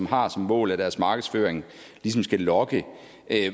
har som mål at deres markedsføring ligesom skal lokke